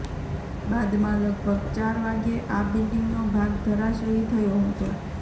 બાદમાં લગભગ ચાર વાગ્યે આ બિલ્ડિંગનો ભાગ ધરાશાયી થયો હતો